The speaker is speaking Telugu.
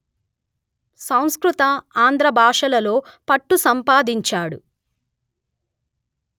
సంస్కృత ఆంధ్ర భాషలలో పట్టు సంపాదించాడు